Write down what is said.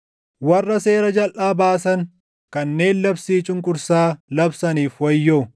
Warra seera jalʼaa baasan, kanneen labsii cunqursaa labsaniif wayyoo;